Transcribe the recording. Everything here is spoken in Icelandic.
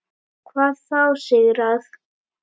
Hvað þá sigrað.